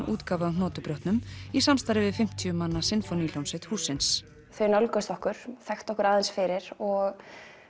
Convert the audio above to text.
útgáfu af í samstarfi við fimmtíu manna sinfóníuhljómsveit hússins þau nálguðust okkur þekktu okkur aðeins fyrir og